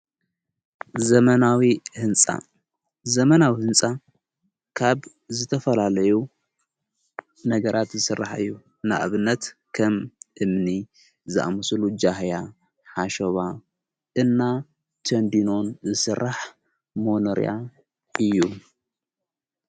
ዘመናዊ ሕንፃ ዘመናዊ ሕንጻ ካብ ዝተፈላለዩ ነገራት ዝሥራሕእዩ ንእብነት ከም እምኒ ዝኣምስሉ ጃህያ ሓሾባ እና ተንዲኖን ዝሥራሕ መኖርያ እዩ።